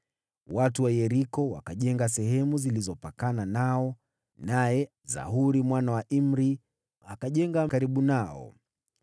Watu wa Yeriko wakajenga sehemu zilizopakana nao, naye Zakuri mwana wa Imri akajenga karibu nao.